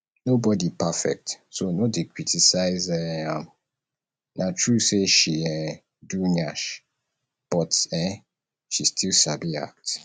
nobody perfect so no dey criticise um am na true say she um do nyash but um she still sabi act